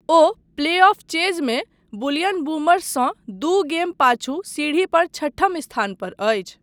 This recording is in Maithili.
ओ प्लेऑफ चेज़मे बुलियन बूमर्ससँ दू गेम पाछू सीढ़ीपर छठम स्थान पर अछि।